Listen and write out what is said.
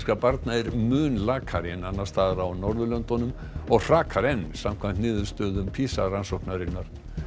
barna er mun lakari en annars staðar á Norðurlöndunum og hrakar enn samkvæmt niðurstöðum PISA rannsóknarinnar